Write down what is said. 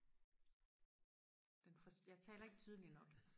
den forstår jeg taler ikke tydeligt nok